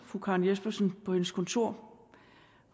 fru karen jespersen på hendes kontor